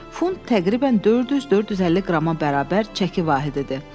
Funt təqribən 400-450 qrama bərabər çəki vahididir.